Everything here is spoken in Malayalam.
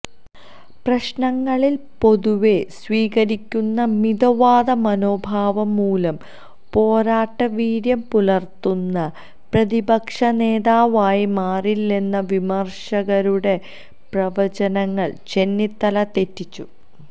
പ്രശ്നങ്ങളിൽ പൊതുവേ സ്വീകരിക്കുന്ന മിതവാദ മനോഭാവം മൂലം പോരാട്ട വീര്യം പുലർത്തുന്ന പ്രതിപക്ഷനേതാവായി മാറില്ലെന്ന വിമർശകരുടെ പ്രവചനങ്ങൾ ചെന്നിത്തല തെറ്റിച്ചു